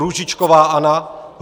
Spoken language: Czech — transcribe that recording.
Růžičková Anna